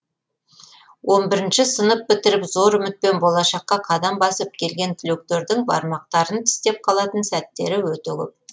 он бірінші сынып бітіріп зор үмітпен болашаққа қадам басып келген түлектердің бармақтарын тістеп қалатын сәттері өте көп